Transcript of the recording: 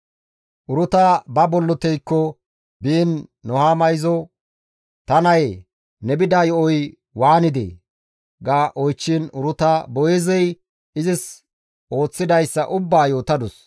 Uruta ba bolloteyko biin Nuhaama izo, «Ta nayee ne bida yo7oy waanidee?» ga oychchiin, Uruta Boo7eezey izis ooththidayssa ubbaa yootadus;